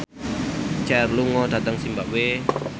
Cher lunga dhateng zimbabwe